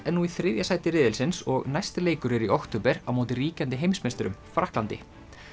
er nú í þriðja sæti riðilsins og næsti leikur er í október á móti ríkjandi heimsmeisturum Frakklandi